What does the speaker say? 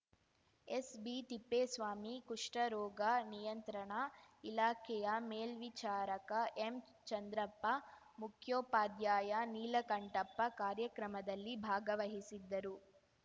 ಎಸ್‌ಬಿತಿಪ್ಪೇಸ್ವಾಮಿ ಕುಷ್ಠ ರೋಗ ನಿಯಂತ್ರಣ ಇಲಾಖೆಯ ಮೇಲ್ವಿಚಾರಕ ಎಂಚಂದ್ರಪ್ಪ ಮುಖ್ಯೋಪಾಧ್ಯಾಯ ನೀಲಕಂಠಪ್ಪ ಕಾರ್ಯಕ್ರಮದಲ್ಲಿ ಭಾಗವಹಿಸಿದ್ದರು